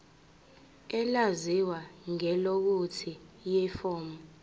elaziwa ngelokuthi yiform